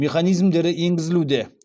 механизмдері енгізілуде